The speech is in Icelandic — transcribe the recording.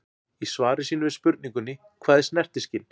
Í svari sínu við spurningunni Hvað er snertiskyn?